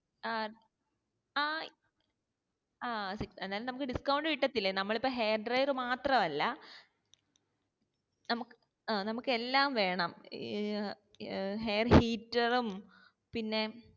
ആ ആഹ് ആ ന്തായാലും നമ്മക്ക് discount കിട്ടത്തില്ലേ നമ്മൾ ഇപ്പൊ hair drawer മാത്രമല്ല നമ്മക്ക് ഏർ എല്ലാം വേണം ഏർ hair heater ഉം പിന്നെ